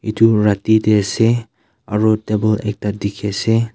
itu rati dey ase aru table ekta dikhi ase.